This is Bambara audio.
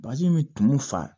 Bazɛn bɛ tumu fa